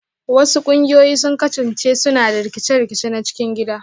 Wasu ƙungiyoyi sun kasance suna da rikice-rikice na cikin gida